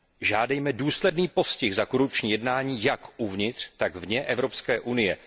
Žádejme důsledný postih za korupční jednání jak uvnitř, tak vně Evropské unie.